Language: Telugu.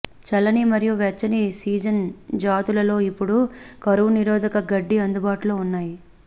చల్లని మరియు వెచ్చని సీజన్ జాతులలో ఇప్పుడు కరువు నిరోధక గడ్డి అందుబాటులో ఉన్నాయి